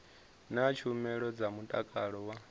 na tshumelo dza mutakalo wa